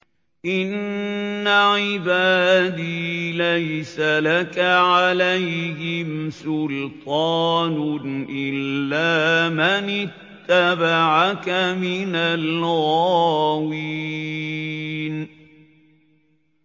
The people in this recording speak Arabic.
إِنَّ عِبَادِي لَيْسَ لَكَ عَلَيْهِمْ سُلْطَانٌ إِلَّا مَنِ اتَّبَعَكَ مِنَ الْغَاوِينَ